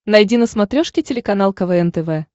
найди на смотрешке телеканал квн тв